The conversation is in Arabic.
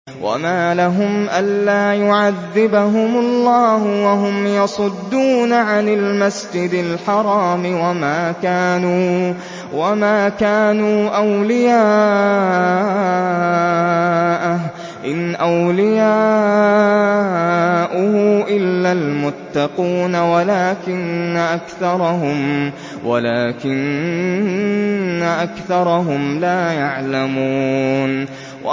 وَمَا لَهُمْ أَلَّا يُعَذِّبَهُمُ اللَّهُ وَهُمْ يَصُدُّونَ عَنِ الْمَسْجِدِ الْحَرَامِ وَمَا كَانُوا أَوْلِيَاءَهُ ۚ إِنْ أَوْلِيَاؤُهُ إِلَّا الْمُتَّقُونَ وَلَٰكِنَّ أَكْثَرَهُمْ لَا يَعْلَمُونَ